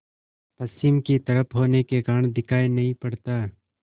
पश्चिम की तरफ होने के कारण दिखाई नहीं पड़ता